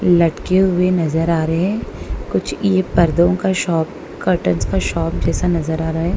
लटके हुए नजर आ रहे हैं कुछ ये पर्दों का शॉप कर्टंस का शॉप जैसा नजर आ रहा है।